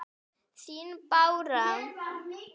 Þín Bára.